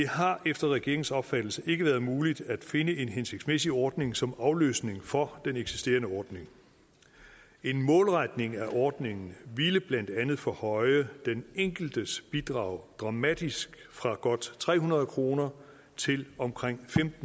har efter regeringens opfattelse ikke været muligt at finde en hensigtsmæssig ordning som afløsning for den eksisterende ordning en målretning af ordningen ville blandt andet forhøje den enkeltes bidrag dramatisk fra godt tre hundrede kroner til omkring